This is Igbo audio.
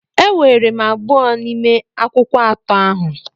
Eweere m abụọ n'ime akwụkwọ atọ ahụ.